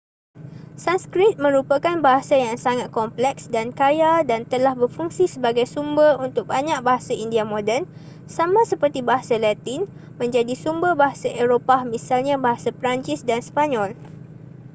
sanskrit merupakan bahasa yang sangat kompleks dan kaya dan telah berfungsi sebagai sumber untuk banyak bahasa india moden sama seperti bahasa latin menjadi sumber bahasa eropah misalnya bahasa perancis dan sepanyol